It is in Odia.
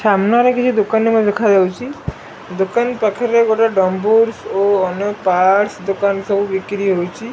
ସାମ୍ନାରେ କିଛି ଦୋକାନି ମଧ୍ୟ ଦେଖାଯାଉଚି। ଦୋକାନ ପାଖରେ ଗୋଟେ ଡ଼ମ୍ବୁରସ୍ ଓ ଅନ୍ୟ ପାର୍ଟସ ଦୋକାନ ସବୁ ବିକ୍ରି ହୋଉଚି।